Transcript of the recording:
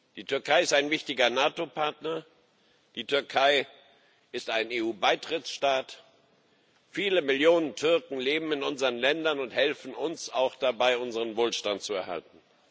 Die Türkei ist ein wichtiger NATO Partner, die Türkei ist ein EU Beitrittsstaat, viele Millionen Türken leben in unseren Ländern und helfen uns auch dabei, unseren Wohlstand zu erhalten.